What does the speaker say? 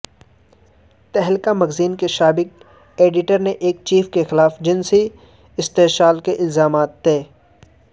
تہلکہ magazine کے سابق editor in chief کے خلاف جنسی استحصال کے الزامات طے